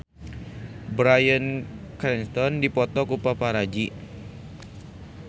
Bryan Cranston dipoto ku paparazi